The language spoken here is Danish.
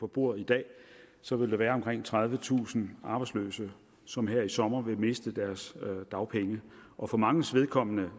på bordet i dag så vil der være omkring tredivetusind arbejdsløse som her i sommer vil miste deres dagpenge og for manges vedkommende